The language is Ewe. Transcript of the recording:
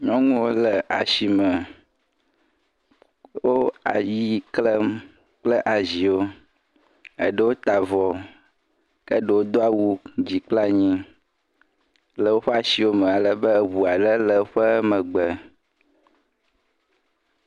Nyɔnuwo le asime. Wo ayi klem kple aziwo. Eɖewo ta avɔ ke ɖewo do awu dzi kple anyi le woƒe asiwo me ale be ŋua ɖe le ƒe megbe.